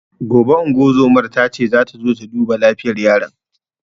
Gobe ingozuman tace zata zo ta duba lafiyar yaron